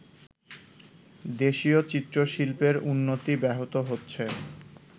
দেশীয় চিত্রশিল্পের উন্নতি ব্যাহত হচ্ছে